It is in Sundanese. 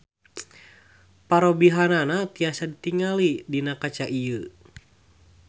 Parobihanana tiasa ditingali dina kaca ieu.